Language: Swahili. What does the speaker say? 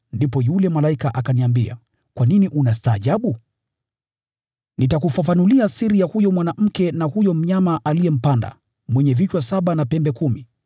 Ndipo yule malaika akaniambia, “Kwa nini unastaajabu? Nitakufafanulia siri ya huyo mwanamke na huyo mnyama aliyempanda, mwenye vichwa saba na pembe kumi.